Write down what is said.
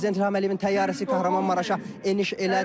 prezident İlham Əliyevin təyyarəsi Kahramanmaraşa eniş elədi.